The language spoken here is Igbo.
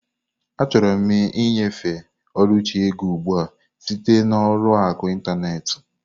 Achọrọ m ịnyefe Oluchi ego ugbu a site na ụlọ akụ ịntanetị.